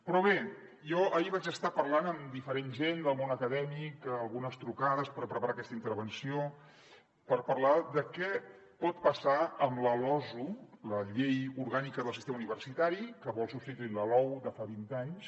però bé jo ahir vaig estar parlant amb diferent gent del món acadèmic algunes trucades per preparar aquesta intervenció per parlar de què pot passar amb la losu la llei orgànica del sistema universitari que vol substituir la lou de fa vint anys